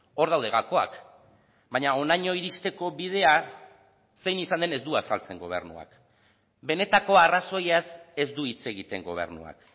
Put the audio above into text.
hor daude gakoak baina honaino iristeko bidea zein izan den ez du azaltzen gobernuak benetako arrazoiaz ez du hitz egiten gobernuak